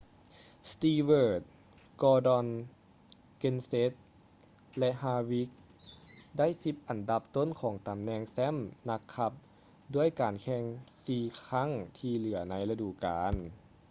stewart gordon kenseth ແລະ harvick ໄດ້ສິບອັນດັບຕົ້ນຂອງຕໍາແໜ່ງແຊ້ມນັກຂັບດ້ວຍການແຂ່ງສີ່ຄັ້ງທີ່ເຫຼືອໃນລະດູການ